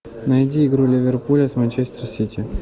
найди игру ливерпуля с манчестер сити